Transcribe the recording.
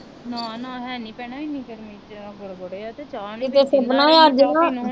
ਨਾ ਨਾ ਹੈ ਨੀ ਭੈਣੇ ਏਨੀ ਗਰਮੀ ਚ ਗੋਡੇ ਗੋਡੇ ਆ ਤੇ ਚਾਹ ਨਹੀਂ